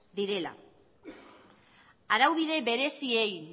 direla araubide bereziei